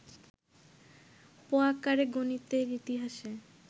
পোয়াঁকারে গণিতের ইতিহাসে